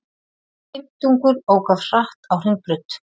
Fimmtungur ók of hratt á Hringbraut